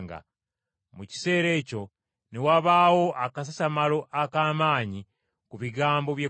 Mu kiseera ekyo ne wabaawo akasasamalo ak’amaanyi ku bigambo by’ekkubo.